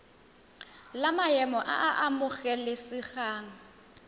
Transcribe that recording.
la maemo a a amogelesegang